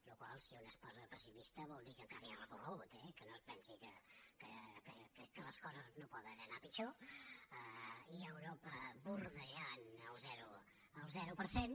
la qual cosa si un es posa pessimista vol dir que encara hi ha recorregut eh que no es pensi que les coses no poden anar pitjor i europa vorejant el zero per cent